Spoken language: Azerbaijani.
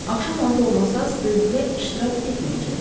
Axşam orda olmasanız bölgüdə iştirak etməyəcəksiz.